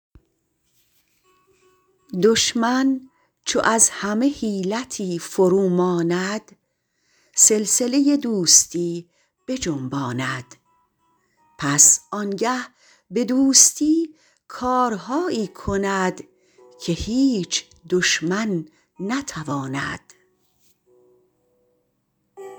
دشمن چو از همه حیلتی فرو ماند سلسله دوستی بجنباند پس آنگه به دوستی کارهایی کند که هیچ دشمن نتواند